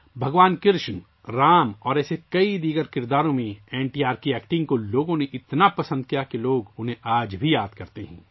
بھگوان کرشن، رام اور اس طرح کے دیگر کئی کرداروں میں لوگوں نے این ٹی آر کی اداکاری کو اتنا پسند کیا کہ لوگ انہیں آج بھی یاد کرتے ہیں